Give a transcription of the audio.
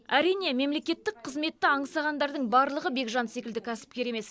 әрине мемлекеттік қызметті аңсағандардың барлығы бекжан секілді кәсіпкер емес